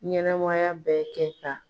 Ɲɛnɛmaya bɛ kɛ ta